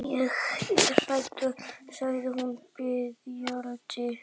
Ég er hrædd, sagði hún biðjandi.